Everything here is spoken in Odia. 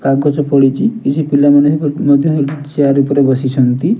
କାଗଜ ପଡ଼ିଚି କିଛି ପିଲା ମାନେ ମଧ୍ୟ ଚେୟାର ଉପରେ ବସିଛନ୍ତି।